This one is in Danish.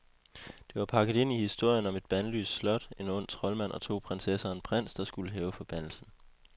Det var pakket ind i historien om et bandlyst slot, en ond troldmand og to prinsesser og en prins, der skulle hæve forbandelsen.